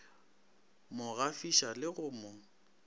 mo gafiša le go mo